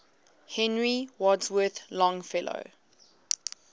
henry wadsworth longfellow